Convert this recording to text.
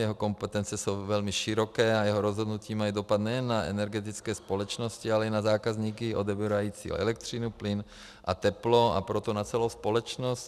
Jeho kompetence jsou velmi široké a jeho rozhodnutí mají dopad nejen na energetické společnosti, ale i na zákazníky odebírající elektřinu, plyn a teplo, a proto na celou společnost.